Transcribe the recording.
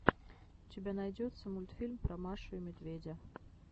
у тебя найдется мультфильм про машу и медведя